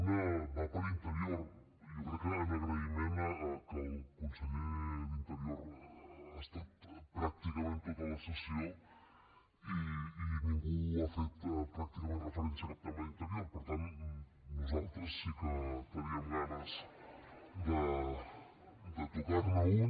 una va per a interior jo crec que en agraïment que el conseller d’interior ha estat pràcticament a tota la sessió i ningú ha fet pràcticament referència a cap tema d’interior per tant nosaltres sí que teníem ganes de tocar ne un